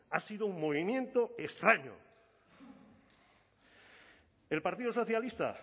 ha sido un movimiento extraño el partido socialista